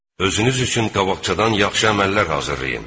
Özünüz üçün qabaqcadan yaxşı əməllər hazırlayın.